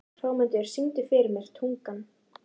Hrómundur, syngdu fyrir mig „Tungan“.